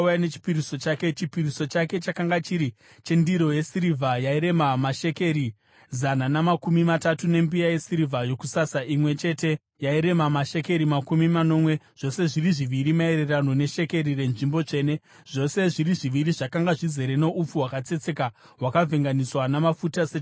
Chipiriso chake chakanga chiri chendiro yesirivha yairema mashekeri zana namakumi matatu, nembiya yesirivha yokusasa imwe chete yairema mashekeri makumi manomwe, zvose zviri zviviri maererano neshekeri renzvimbo tsvene, zvose zviri zviviri zvakanga zvizere noupfu hwakatsetseka hwakavhenganiswa namafuta sechipiriso chezviyo;